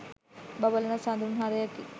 බබලන සඳුන් හරයකි.